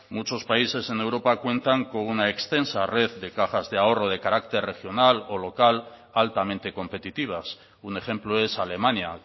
muchos países en europa cuentan con una extensa red de cajas de ahorro de carácter regional o local altamente competitivas un ejemplo es alemania